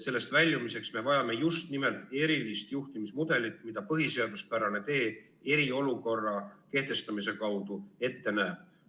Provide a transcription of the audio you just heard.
Sellest väljumiseks me vajame just nimelt erilist juhtimismudelit, mida põhiseaduspärane tee eriolukorra kehtestamise kaudu ette näeb.